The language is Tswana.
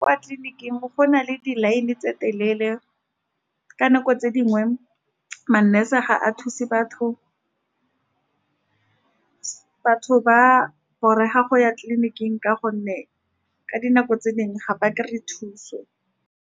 Kwa tleliniking go na le di-line tse ditelele. Ka nako tse dingwe ma-nurse ga ba thuse batho. Batho ba a borega go ya tleliniking, ka gonne ka dinako tse dingwe ga ba kry-e thuso.